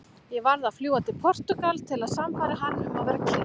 Ég varð að fljúga til Portúgal til að sannfæra hann um að vera kyrr.